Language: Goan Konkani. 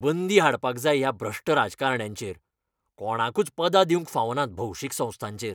बंदी हाडपाक जाय ह्या भ्रश्ट राजकारण्यांचेर, कोणाकूच पदां दिवंक फावनात भौशीक संस्थांचेर.